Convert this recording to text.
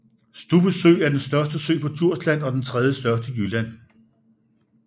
Stubbe Sø er den største sø på Djursland og den tredjestørste i Jylland